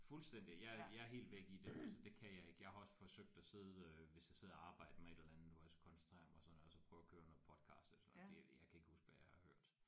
Fuldstændig jeg er jeg er helt væk i det altså det kan jeg ikke jeg har også forsøgt at sidde øh hvis jeg sidder og arbejder med et eller andet hvor jeg skulle koncentrere mig sådan noget og så prøve at køre noget podcast og sådan noget det øh jeg kan ikke huske hvad jeg har hørt